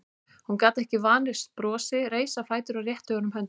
Hún gat ekki varist brosi, reis á fætur og rétti honum höndina.